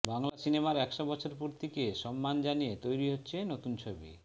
বাংলা সিনেমার একশো বছর পূর্তিকে সম্মান জানিয়ে তৈরি হচ্ছে নতুন ছবি